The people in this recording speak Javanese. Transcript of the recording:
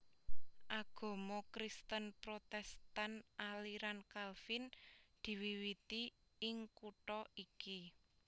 Agama Kristen Protèstan aliran Kalvin diwiwiti ing kutha iki